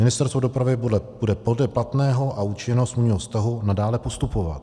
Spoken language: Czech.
Ministerstvo dopravy bude podle platného a účinného smluvního vztahu nadále postupovat.